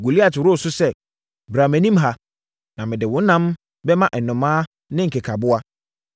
Goliat woroo so sɛ, “Bra mʼanim ha, na mede wo ɛnam bɛma nnomaa ne nkekaboa.”